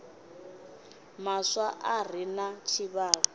maswa a re na tshivhalo